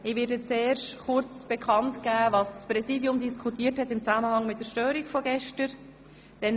Ich gebe zuerst kurz bekannt, was das Präsidium in Zusammenhang mit der gestrigen Störung diskutiert hat.